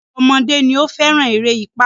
Ọ̀pọ̀lọpọ̀ ọmọdé ni ó fẹ́ràn eré ipá.